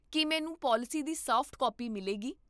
ਕੀ ਮੈਨੂੰ ਪਾਲਿਸੀ ਦੀ soft copy ਮਿਲੇਗੀ?